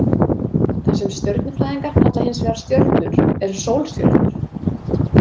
Það sem stjörnufræðingar kalla hins vegar stjörnur eru sólstjörnur.